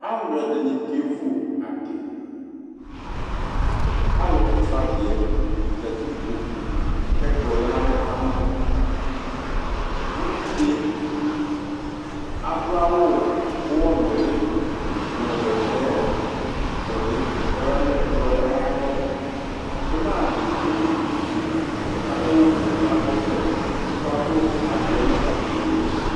Alʋɛdɩnɩ kevu adɩ Alʋkɔsʋ adɩ yɛ zati nʋ kpoku kʋ ɛkplɔ lɛ nʋ alɔ ka ma Uvi dɩ adʋ awʋ ʋɣɔnʋlɩ nʋ bɛtɛnʋlɩ kʋ ɔya nʋ ɛkplɔ yɛ ayalɔ Ɩna dɩ ewu dukufue, adʋ awʋfue kʋ akɔ ɔvlɛ kʋ ɔkadʋ adɩ yɛ nʋ adɩko yɛ li